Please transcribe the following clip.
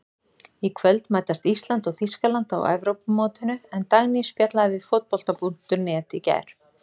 Í kvöld mætast Ísland og Þýskaland á Evrópumótinu en Dagný spjallaði við Fótbolta.net í gær.